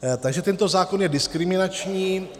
Takže tento zákon je diskriminační.